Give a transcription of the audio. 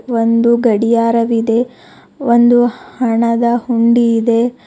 ಒಂದು ಗಡಿಯಾರವಿದೆ ಒಂದು ಹಣದ ಹುಂಡಿ ಇದೆ.